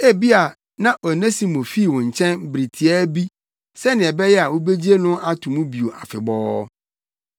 Ebia na Onesimo fii wo nkyɛn bere tiaa bi sɛnea ɛbɛyɛ a wubegye no ato mu bio afebɔɔ.